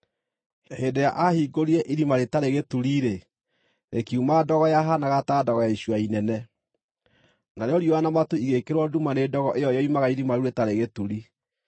Hĩndĩ ĩrĩa aahingũrire Irima-rĩtarĩ-Gĩturi-rĩ, rĩkiuma ndogo yahaanaga ta ndogo ya icua inene. Narĩo riũa na matu igĩĩkĩrwo nduma nĩ ndogo ĩyo yoimaga Irima-rĩu-rĩtarĩ-Gĩturi.